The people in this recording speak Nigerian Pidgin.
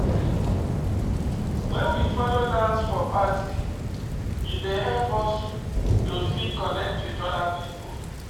When we follow dance for party e dey help us to fit connect with oda pipo